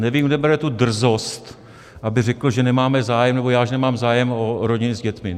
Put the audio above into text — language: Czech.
Nevím, kde bere tu drzost, aby řekl, že nemáme zájem, nebo já že nemám zájem o rodiny s dětmi.